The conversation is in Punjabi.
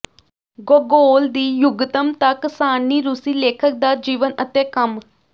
ਗੋਗੋਲ ਦੀ ਯੁੱਗਤਮਤਕ ਸਾਰਣੀ ਰੂਸੀ ਲੇਖਕ ਦਾ ਜੀਵਨ ਅਤੇ ਕੰਮ